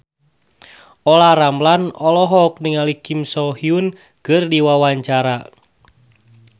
Olla Ramlan olohok ningali Kim So Hyun keur diwawancara